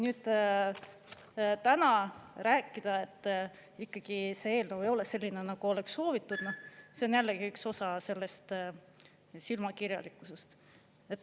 Nüüd, täna rääkida, et ikkagi see eelnõu ei ole selline, nagu oleks soovitud – see on jällegi üks osa sellest silmakirjalikkusest.